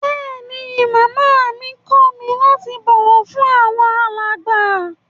Bẹẹni, Máamá mi kọ mi lati bọwọ fun awọn alágba.